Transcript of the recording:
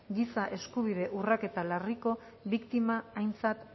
giza eskubide urraketa larriko biktima aintzat